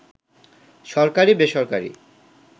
সরকারি-বেসরকারি